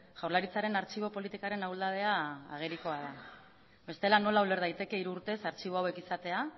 jaurlaritzaren artxibo politikaren ahuldadea agerikoa da bestela nola uler daiteke hiru urtez artxibo hauek izatea